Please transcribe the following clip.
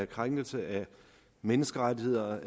krænkelse af menneskerettigheder